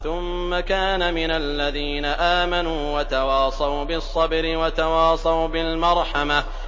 ثُمَّ كَانَ مِنَ الَّذِينَ آمَنُوا وَتَوَاصَوْا بِالصَّبْرِ وَتَوَاصَوْا بِالْمَرْحَمَةِ